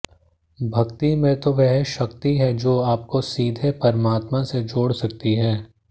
भक्ति में तो वह शक्ति है जो आपको सीधे परमात्मा से जोड़ सकती है